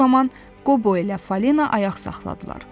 Bu zaman Qobo ilə Falina ayaq saxladılar.